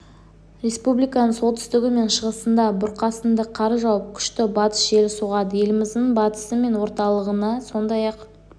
республиканың солтүстігі мен шығысында бұрқасынды қар жауып күшті батыс желі соғады еліміздің батысы мен орталығына сондай-ақ